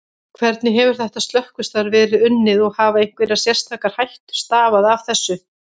Hvernig hefur þetta slökkvistarf verið unnið og hafa einhverjar sérstakar hættur stafað af þessu?